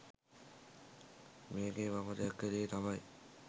මේකේ මම දැක්ක දේ තමයි